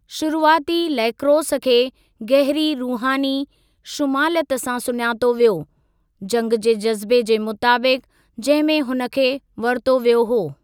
शुरुआती लैक्रोस खे गहरी रुहानी शुमालियतु सां सुञातो वियो, जंग जे जज़्बे जे मुताबिक़ु, जंहिं में हुन खे वरितो वियो हो।